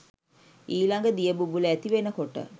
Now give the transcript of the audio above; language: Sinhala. ඊළඟ දිය බුබුල ඇති වෙනකොට